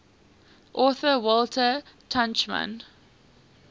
author walter tuchman